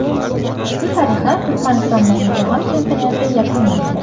Shu tariqa Turkmanistondagi jahon chempionati yakunlandi.